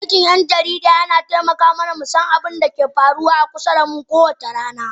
Aikin jarida yana taimaka mana mu san abin da ke faruwa a kusa da mu kowace rana